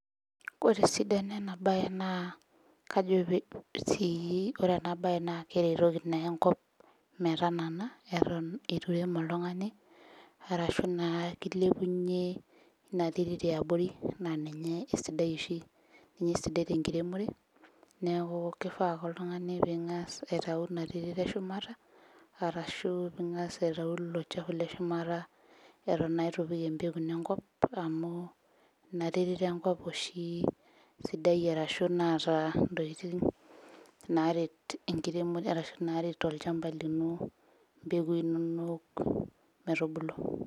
Ore esidano ena baye naa kajo pe sii ore ena baye naa keretoki naa enkop metanana eton itu irem oltung'ani arashu naa kilepunyie ina terit iabori naa ninye esidai oshi ninye esidai tenkiremore neku kifaa ake oltung'ani ping'as aitau ina terit eshumata arashu ping'as aitau ilo chafu leshumata eton naa itu ipik empeku ino enkop amu ina terit enkop oshi sidai arashu naata intokiting naaret enkiremore arashu naaret olchamba lino impekui inonok metubulu.